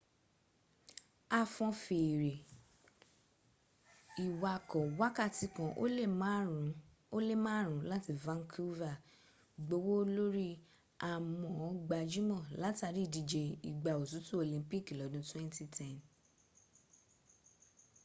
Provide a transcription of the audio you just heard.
a fọn fèèrè ìwakọ̀ wákàtí kan ó lé márùn ún láti vancouver gbówó lórí à mọ́ ó gbajúmọ̀ látàrí ìdíje ìgbà òtútù olympic lọ́dún 2010